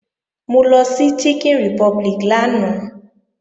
Mo lọ sí Chicken Republic lánàá